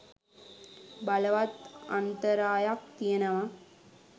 බලවත් අන්තරායක් තියෙනවා.